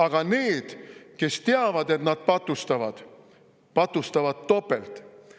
Aga need, kes teavad, et nad patustavad, patustavad topelt.